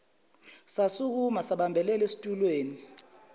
sasukuma sabambelela esitulweni